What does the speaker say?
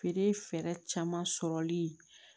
Feere fɛɛrɛ caman sɔrɔli